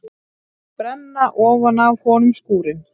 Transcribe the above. Brenna ofan af honum skúrinn!